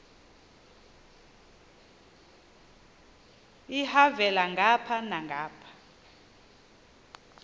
elhavela ngapha nangapha